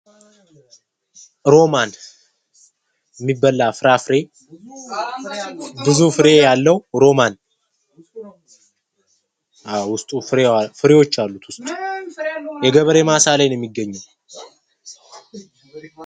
ሮማን የሚበላ ፍራፍሬ ብዙ ፍሬ ያለው የሚበላ ፍሬ ያለው በጣም ብዙ ፍሬ ያለው የገበሬ ማሳ ላይ ነው የሚገኘው።